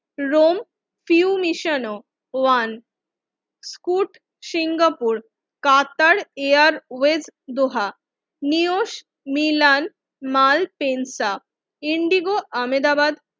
Rome ফিউনিশানো ওয়ান ফুট সিঙ্গাপুর কাতার এয়ারওয়েজ দোহা, নিউজ মিলান্থ মালপেন্টা ইন্ডিগো আমেদাবাদ